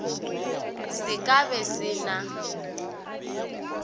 se ka be se na